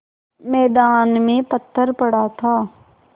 मैदान में पत्थर पड़ा था